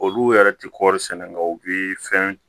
Olu yɛrɛ tɛ kɔɔri sɛnɛ na u bɛ fɛn